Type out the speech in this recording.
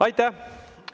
Aitäh!